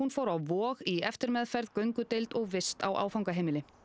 fór á Vog í eftirmeðferð göngudeild og vist á áfangaheimili